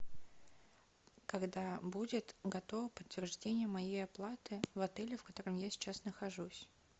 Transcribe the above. когда будет готово подтверждение моей оплаты в отеле в котором я сейчас нахожусь